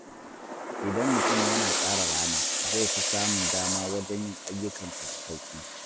Idan mutum yana tsara rana, zai fi samun dama wajen yin ayyukansa da sauƙi.